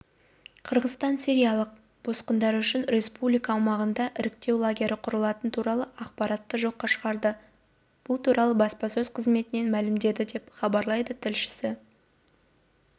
қырғызстан сириялық босқындар үшін республика аумағында іріктеу лагері құрылатыны туралы ақпаратты жоққа шығарды бұл туралы баспасөз қызметінен мәлімдеді деп хабарлайды тілшісі